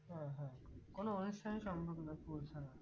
হ্যাঁ হ্যাঁ কোনো অনুষ্ঠানে সম্ভব না পোঁছানো